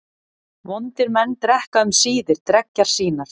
Vondir menn drekka um síðir dreggjar sínar.